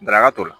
Daraka toli